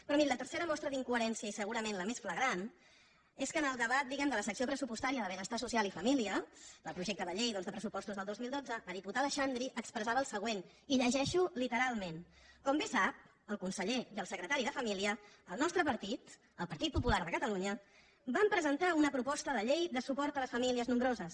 però miri la tercera mostra d’incoherència i segura·ment la més flagrant és que en el debat diguem·ne de la secció pressupostària de benestar social i fa·mília del projecte de llei de pressupostos del dos mil dotze la diputada xandri expressava el següent i ho llegeixo literalment com bé saben el conseller i el secretari de família el nostre partit el partit popular de cata·lunya vam presentar una proposta de llei de suport a les famílies nombroses